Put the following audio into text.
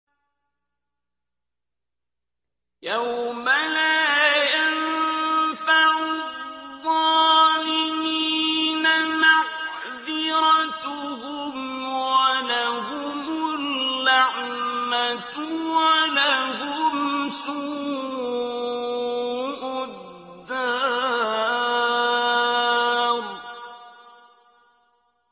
يَوْمَ لَا يَنفَعُ الظَّالِمِينَ مَعْذِرَتُهُمْ ۖ وَلَهُمُ اللَّعْنَةُ وَلَهُمْ سُوءُ الدَّارِ